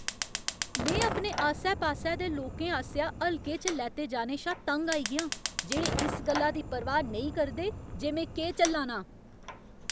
में अपने आस्सै पास्सै दे लोकें आसेआ हल्के च लैते जाने शा तंग आई गेआं जेह्ड़े इस गल्ला दी परवाह् नेईं करदे जे में केह् झल्ला नां।